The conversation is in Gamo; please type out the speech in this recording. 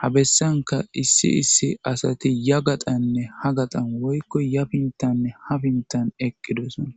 ha bessanka issi issi asati ya gaqanne ha gaqan woykko yabintanne hafintan eqqidosona